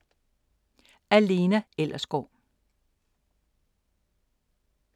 Af Lena Ellersgaard